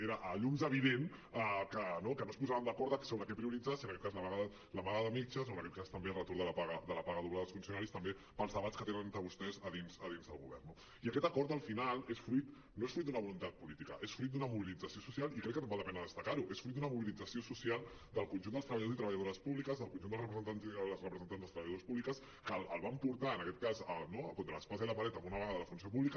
era a llums evident que no es posaven d’acord sobre què prioritzar si en aquest cas la vaga de metges o en aquest cas també el retorn de la paga doble dels funcionaris pels debats que tenen entre vostès a dins del govern no i aquest acord al final no és fruit d’una voluntat política és fruit d’una mobilització social i crec que val la pena destacar ho és fruit d’una mobilització social del conjunt dels treballadors i treballadores públiques del conjunt dels representants i de les representants dels treballadores públiques que el van portar en aquest cas no entre l’espasa i la paret a una vaga de la funció pública